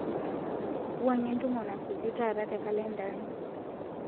wuangie entumo nasuju taata te kalenda aai